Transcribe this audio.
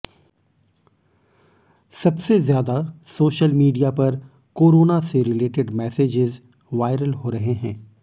सबसे ज्यादा social media पर कोरोना से रिलेटेड मैसेजेस वायरल हो रहे हैं